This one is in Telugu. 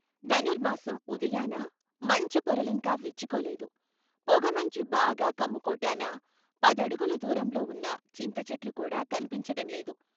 ధనుర్మాసం ఉదయాన మంచు పొరలింకా విచ్చుకోలేదు పొగమంచు బాగా కమ్ముకోటాన పదడుగులు దూరంలో ఉన్న చింతచెట్లు కూడా కన్పించటంలేదు.